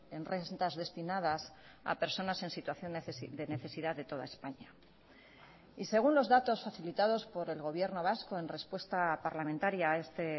en rentas destinadas a personas en situación de necesidad de toda españa y según los datos facilitados por el gobierno vasco en respuesta parlamentaria a este